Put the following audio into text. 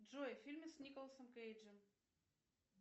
джой фильмы с николасом кейджем